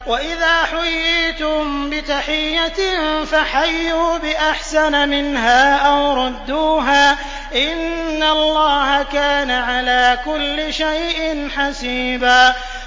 وَإِذَا حُيِّيتُم بِتَحِيَّةٍ فَحَيُّوا بِأَحْسَنَ مِنْهَا أَوْ رُدُّوهَا ۗ إِنَّ اللَّهَ كَانَ عَلَىٰ كُلِّ شَيْءٍ حَسِيبًا